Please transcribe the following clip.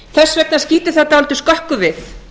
þess vegna skýtur það dálítið skökku við